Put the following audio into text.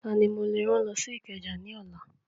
Tani mo lè rán lọ sí Ìkẹjà ní ọ̀la?